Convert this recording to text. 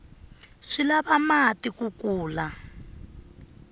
swi lava mati ku kula